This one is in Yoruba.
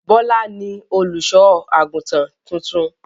Bọ́lá ni olùṣọ́-àgùntàn tuntun.